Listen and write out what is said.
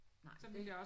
Nej det